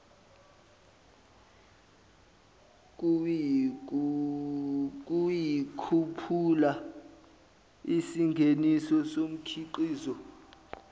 ukukhuphula isingeniso somkhiqizo